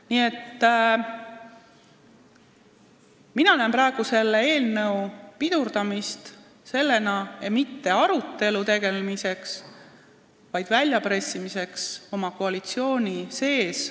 Nii et mina näen praegu selle eelnõu pidurdamist mitte aja võtmisena arutelu jaoks, vaid väljapressimisena koalitsiooni sees.